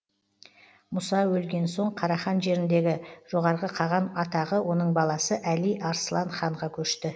мұса өлген соң қарахан жеріндегі жоғарғы қаған атағы оның баласы әли арслан ханға көшті